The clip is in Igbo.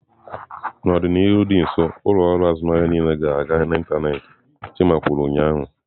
"N'ọdịnihu dị nso, ụlọ akụ azụmahịa niile ga-aga n'ịntanetị" chima kwuru ụnyaahụ.